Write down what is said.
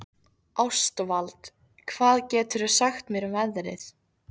Ástvald, hvað geturðu sagt mér um veðrið?